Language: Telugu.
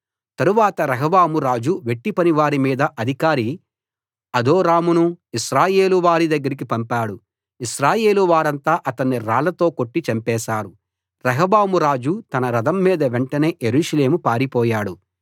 తరువాత రెహబాము రాజు వెట్టిపనివారి మీద అధికారి అదోరామును ఇశ్రాయేలు వారి దగ్గరికి పంపాడు ఇశ్రాయేలు వారంతా అతన్ని రాళ్లతో కొట్టి చంపేశారు రెహబాము రాజు తన రథం మీద వెంటనే యెరూషలేము పారిపోయాడు